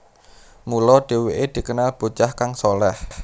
Mula dheweke dikenal bocah kang shaleh